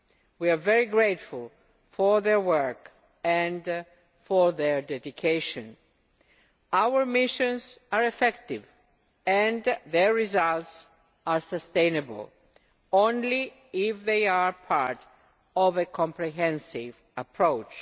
We are very grateful for their work and for their dedication. Our missions are effective and their results are sustainable only if they are part of a comprehensive approach.